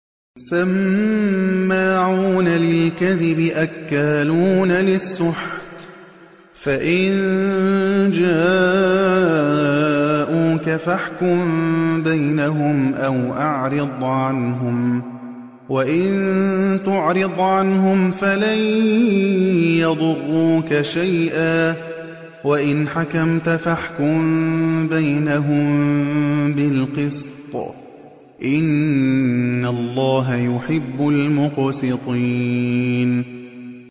سَمَّاعُونَ لِلْكَذِبِ أَكَّالُونَ لِلسُّحْتِ ۚ فَإِن جَاءُوكَ فَاحْكُم بَيْنَهُمْ أَوْ أَعْرِضْ عَنْهُمْ ۖ وَإِن تُعْرِضْ عَنْهُمْ فَلَن يَضُرُّوكَ شَيْئًا ۖ وَإِنْ حَكَمْتَ فَاحْكُم بَيْنَهُم بِالْقِسْطِ ۚ إِنَّ اللَّهَ يُحِبُّ الْمُقْسِطِينَ